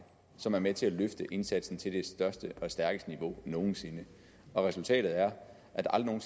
som er med til at løfte indsatsen til det stærkeste niveau nogen sinde og resultatet er at der aldrig